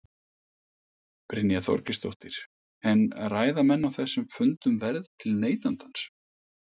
Brynja Þorgeirsdóttir: En ræða menn á þessum fundum verð til neytandans?